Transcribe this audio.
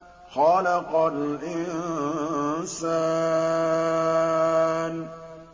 خَلَقَ الْإِنسَانَ